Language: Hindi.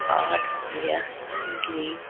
और यह ग्रीन।